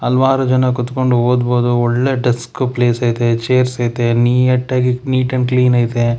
ಹಲವಾರು ಜನ ಕೂತ್ಕೊಂಡ್ ಓದ್ಬೋದು ಒಳ್ಳೆ ಡೆಸ್ಕ್ ಪ್ಲೇಸ್ ಐತೆ ಚೇರ್ಸ್ ಐತೆ ನೀಯಟ್- ಆಗಿ ನೀಟ್ ಅಂಡ್ ಕ್ಲೀನ್ ಐತೆ.